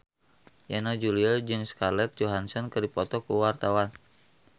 Yana Julio jeung Scarlett Johansson keur dipoto ku wartawan